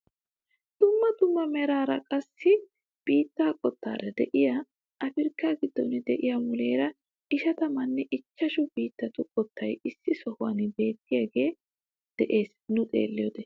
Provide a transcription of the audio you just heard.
Dumma dumma meraaranne qassi biittaa qottaara de'iyaa apirkkaa giddon de'iyaa muleera ishatamanne ichchashshu biittatu qottay issi sohuwaan beettiyaagee de'ees nu xeelliyoode.